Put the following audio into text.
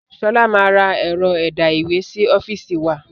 Sọlá máa ra ẹ̀rọ ẹ̀dá ìwé sì ọ́fíìsì wa